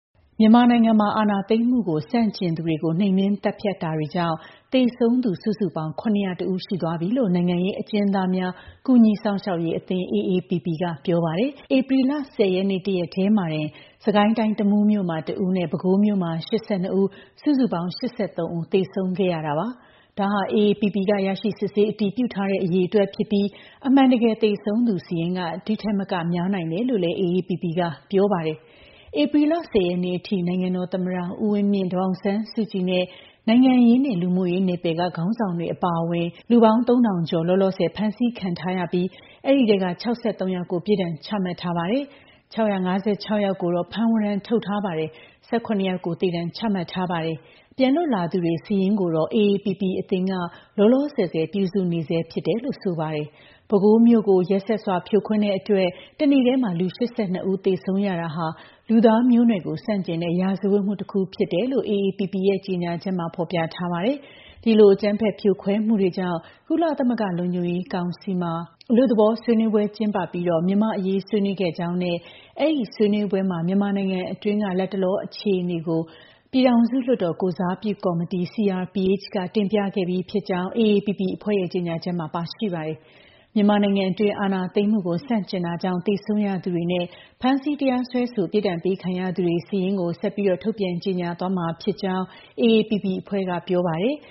မြန်မာနိုင်ငံမှာ အာဏာသိမ်းမှုကို ဆန့်ကျင်သူတွေကို နှိမ်နင်းသတ်ဖြတ်မှုတွေကြောင့် သေဆုံးသူ စုစုပေါင်း ၇၀၁ ဦး ရှိသွားပြီလို့ နိုင်ငံရေးအကျဉ်းသားများ ကူညီစောင့်ရှောက်ရေးအသင်း (AAPP) က ပြောပါတယ်။ ဧပြီလ ၁၀ ရက်နေ့ တရက်တည်းမှာတင် စစ်ကိုင်းတိုင်း တမူးမြို့မှာ ၁ ဦးနဲ့ ပဲခူးမှာ ၈၂ ဦး စုစုပေါင်း ၈၃ ဦး သေဆုံးခဲ့ရတာပါ။ ဒါဟာ AAPP က ရရှိ စစ်ဆေး အတည်ပြုထားတဲ့ အရေအတွက်ဖြစ်ပြီး အမှန်တကယ် သေဆုံးသူစာရင်းက ဒီ့ထက်မက များပြားလွန်းနိုင်တယ်လို့လည်း AAPP က ပြောပါတယ်။ ဧပြီလ ၁၀ ရက်နေ့အထိ နိုင်ငံတော်သမ္မတ ဦးဝင်းမြင့်၊ ဒေါ်အောင်ဆန်းစုကြည်နဲ့ နိုင်ငံရေးနဲ့ လူမှုရေးနယ်ပယ်က ခေါင်းဆောင်တွေ အပါအဝင် လူပေါင်း ၃,၀၁၂ ယောက် လောလောဆယ် ဖမ်းဆီးခံထားရပြီး အဲဒီအထဲက ၆၃ ယောက်ကို ပြစ်ဒဏ်ချမှတ်ထားပါတယ်။ ၆၅၆ ယောက်ကိုတော့ ဖမ်းဝရမ်းထုတ်ထားပါတယ်။ ၁၇ ယောက်ကို သေဒဏ် ချမှတ်ထားပါတယ်။ ပြန်လွတ်လာသူတွေ စာရင်းကိုတော့ AAPP အသင်းက လောလောဆယ် ပြုစုနေဆဲလို့ ဆိုပါတယ်။ ပဲခူးမြို့ကို ကြမ်းတမ်းရက်စက်စွာ ဖြိုခွင်းလို့ တနေ့တည်း လူ ၈၂ ဦး သေဆုံးရတာဟာ လူသားမျိုးနွယ်ကို ဆန့်ကျင်တဲ့ ရာဇဝတ်မှုတခု ဖြစ်တယ်လို့လည်း AAPP ရဲ့ ကြေညာချက်မှာ ဖော်ပြထားပါတယ်။ ဒီလို အကြမ်းဖက် ဖြိုခွဲမှုတွေကြောင့် ကုလသမဂ္ဂ လုံခြုံရေးကောင်စီမှာ Arria Formula လို့ခေါ်တဲ့ အလွတ်သဘော ဆွေးနွေးပွဲ ကျင်းပပြီး မြန်မာ့အရေး ဆွေးနွေးခဲ့ရကြောင်းနဲ့ အဲဒီဆွေးနွေးပွဲမှာ မြန်မာနိုင်ငံအတွင်းက လတ်တလော အခြေအနေကို ပြည်ထောင်စုလွှတ်တော် ကိုယ်စားပြုကော်မတီ (CRPH) က တင်ပြခဲ့ပြီးဖြစ်ကြောင်း AAPP အဖွဲ့ရဲ့ ကြေညာချက်မှာ ပါရှိပါတယ်။ မြန်မာနိုင်ငံအတွင်း အာဏာသိမ်းမှုကို ဆန့်ကျင်တာကြောင့် သေဆုံးရသူတွေနဲ့ ဖမ်းဆီးတရားစွဲဆို ပြစ်ဒဏ်ပေးခံရသူတွေရဲ့ စာရင်းကို ဆက်လက်ထုတ်ပြန် ကြေညာသွားမှာဖြစ်ကြောင်း AAPP အဖွဲ့က ပြောပါတယ်။